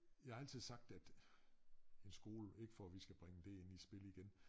Jeg har altid sagt at en skole ikke for at vi skal bringe det ind i spil igen